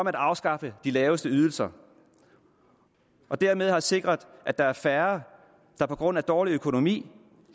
har afskaffet de laveste ydelser dermed har vi sikret at der er færre der på grund af dårlig økonomi